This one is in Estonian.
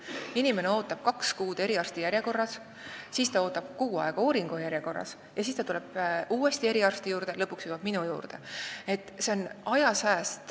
Eriarsti järjekorras aga ootab inimene kaks kuud, siis ootab ta kuu aega uuringujärjekorras ja seejärel läheb uuesti eriarsti juurde, lõpuks jõuab ka minu juurde.